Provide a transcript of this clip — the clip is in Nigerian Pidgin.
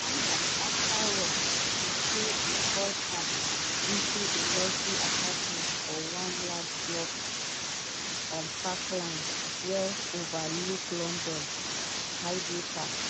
one night after work she say e call her to im luxury apartment for one large block on park lane wey overlook london hyde park.